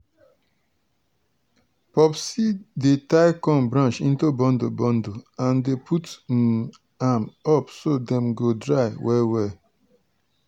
popsie dey tie corn branch into bundle bundle and dey put um am up so dem go dry well well.